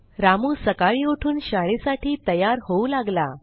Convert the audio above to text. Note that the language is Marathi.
रामू सकाळी उठून शाळेसाठी तयार होऊ लागला